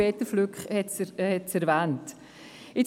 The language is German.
Peter Flück hat es erwähnt.